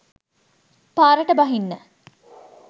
පාරට බහින්න